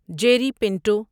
Jerry Pinto